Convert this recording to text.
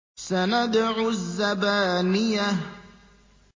سَنَدْعُ الزَّبَانِيَةَ